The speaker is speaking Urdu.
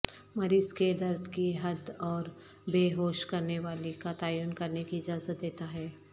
مریض کے درد کی حد اوربے ہوش کرنےوالی کا تعین کرنے کی اجازت دیتا ہے